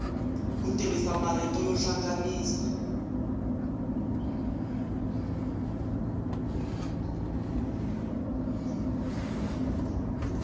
ku tirhisa marito yo hlanganisa